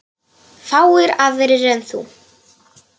Hvað ef Bjarni Ben.